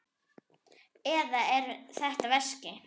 Eða er þetta veski?